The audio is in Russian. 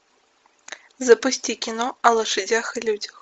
запусти кино о лошадях и людях